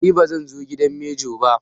Ni ba zanje gidan manjo ba